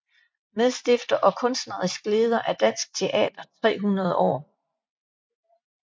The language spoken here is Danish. Medstifter og kunstnerisk leder af Dansk Teater 300 År